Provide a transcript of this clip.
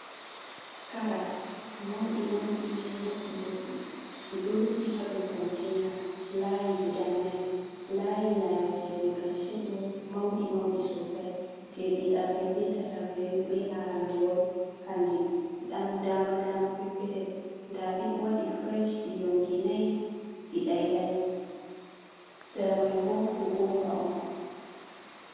Karas mauɗi mauɗi boɗɗi boɗɗi, ɗiɗo rufi hado kontaina layi guda nai layi nayabreje karshe ɗo mauɗi mauɗi sosai, je ɗiɗabre betatabre be arandewol kanji ɗi ɗam dama dama. peppetel nda ɗiɗo waɗi furesh ɗi yonkinai ɗiɗailai, sara maibo kukumba on.